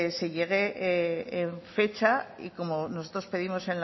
se llegue en fecha y como nosotros pedimos